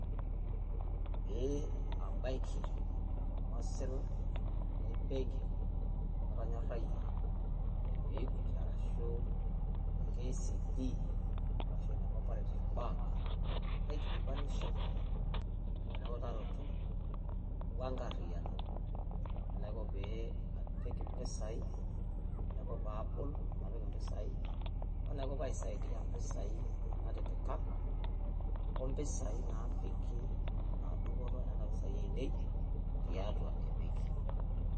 Pee abaiki olng'osila le mbenki natonyorayie ene equity arashu ene KCB arashu ene cooperative bank. Naikilikuanisho aikilikuanu eutaroto o enkariyiano. Enaiko pee apik mpisai enaiko pee abol o napik mpisai, o niko pee aisaidia mpisai natipika o mpisai naapiki enaa dupoto e nena pisai ainei tiatua e benki.